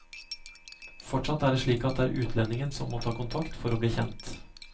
Fortsatt er det slik at det er utlendingen som må ta kontakt for å bli kjent.